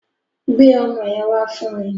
Gbe ọmọ yẹn wá fún mi